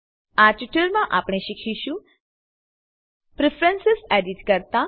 આ ટ્યુટોરીયલમાં આપણે શીખીશું પ્રેફરન્સ એડિટ કરતા